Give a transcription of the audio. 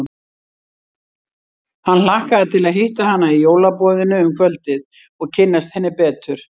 Hann hlakkaði til að hitta hana í jólaboðinu um kvöldið og kynnast henni betur.